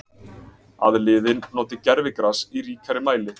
Að liðin noti gervigras í ríkari mæli?